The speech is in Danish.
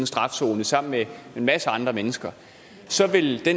strafzone sammen med en masse andre mennesker så ville det